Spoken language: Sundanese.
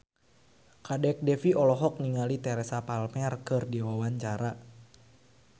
Kadek Devi olohok ningali Teresa Palmer keur diwawancara